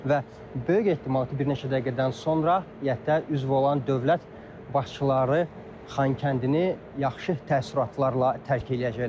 Və böyük ehtimal ki, bir neçə dəqiqədən sonra İƏT-ə üzv olan dövlət başçıları Xankəndini yaxşı təəssüratlarla tərk eləyəcəklər.